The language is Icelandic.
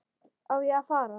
Á ég að fara?